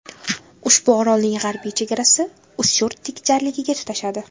Ushbu orolning g‘arbiy chegarasi Ustyurt tik jarligiga tutashadi.